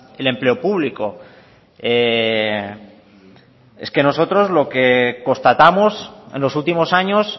el empleo público es que nosotros lo que constatamos en los últimos años